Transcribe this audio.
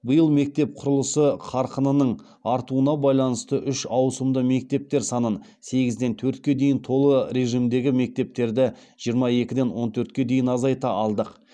биыл мектеп құрылысы қарқынының артуына байланысты үш ауысымды мектептер санын сегізден төртке дейін толы режимдегі мектептерді жиырма екіден он төртке дейін азайта алдық